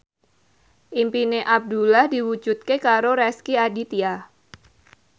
impine Abdullah diwujudke karo Rezky Aditya